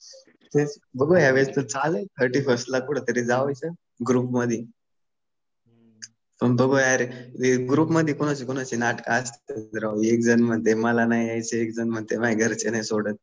तेच बघूया. या वेळेस पण चालू आहे थर्टी फर्स्टला कुठंतरी जायचंय ग्रुपमध्ये. पण बघू यार. ग्रुपमध्ये कुणाची कुणाची नाटकं असतात राव. एक जण म्हणतंय मला नाही यायचं, एक जण म्हणतंय माझ्या घरचे नाही सोडत.